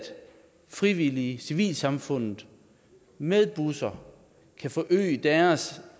frivillige i civilsamfundet med busser kan forøge deres